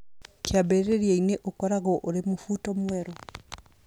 Kĩambĩrĩria-inĩ, ũkoragwo ũrĩ ta mũbuto mwerũ